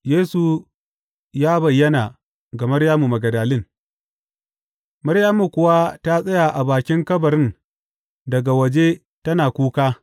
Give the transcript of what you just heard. Yesu ya bayyana ga Maryamu Magdalin Maryamu kuwa ta tsaya a bakin kabarin daga waje tana kuka.